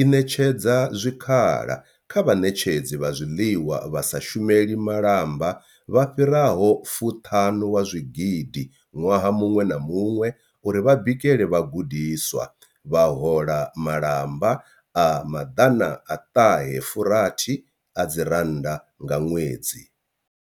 i ṋetshedza zwikhala kha vhaṋetshedzi vha zwiḽiwa vha sa shumeli malamba vha fhiraho fuṱanu wa zwigidi ṅwaha muṅwe na muṅwe uri vha bikele vhagudiswa, vha hola malamba a maḓana a fuṱahe rathi adzi rannda nga ṅwedzi.